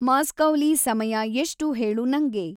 ಮಾಸ್ಕೌಲಿ ಸಮಯ ಎಷ್ಟು ಹೇಳು ನಂಗೆ